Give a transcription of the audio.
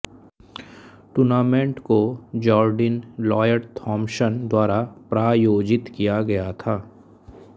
tournament को Jardine Lloyd Thompson द्वारा प्रायोजित किया गया था